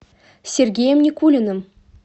сергеем никулиным